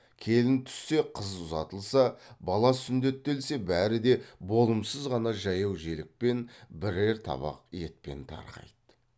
келін түссе қыз ұзатылса бала сүндеттелсе бәрі де болымсыз ғана жаяу желікпен бірер табақ етпен тарқайды